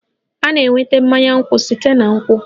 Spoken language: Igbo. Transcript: A na-enweta mmanya nkwụ site na nkwụ